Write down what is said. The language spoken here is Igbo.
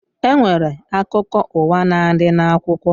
E nwere akụkọ ụwa na-adị n'akwụkwọ